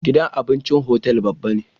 Gidan abincin hotel babba ne